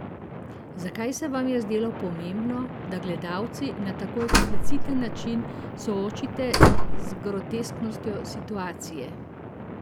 Zakaj se vam je zdelo pomembno, da gledalca na tako ekspliciten način soočite z grotesknostjo situacije?